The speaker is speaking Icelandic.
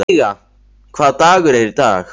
Veiga, hvaða dagur er í dag?